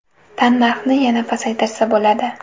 Tannarxni yana pasaytirsa bo‘ladi.